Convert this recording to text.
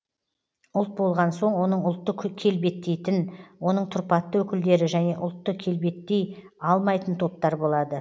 ұлт болған соң оның ұлтты келбеттейтін оның тұрпатты өкілдері және ұлтты келбеттей алмайтын топтар болады